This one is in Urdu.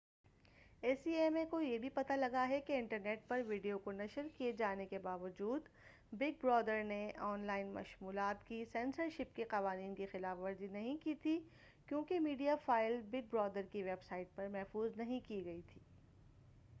اے سی ایم اے کو یہ بھی پتہ لگا کہ انٹرنیٹ پر ویڈیو کو نشر کیے جانے کے باوجود بگ برادر نے آن لائن مشمولات کی سنسرشپ کے قوانین کی خلاف ورزی نہیں کی تھی کیونکہ میڈیا فائل بگ برادر کی ویب سائٹ پر محفوظ نہیں کی گئی تھی